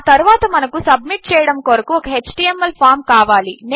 ఆ తరువాత మనకు సబ్మిట్ చేయడము కొరకు ఒక ఎచ్టీఎంఎల్ ఫామ్ కావాలి